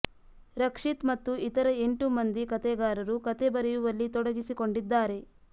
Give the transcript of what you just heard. ರಕ್ಷಿತ್ ಮತ್ತು ಇತರ ಎಂಟು ಮಂದಿ ಕಥೆಗಾರರು ಕಥೆ ಬರೆಯುವಲ್ಲಿ ತೊಡಗಿಸಿಕೊಂಡಿದ್ದಾರೆ